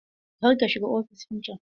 Kar ka shiga ofishin can!